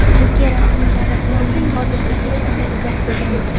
Turkiya rasmiylari hozircha hech qanday izoh bildirmadi.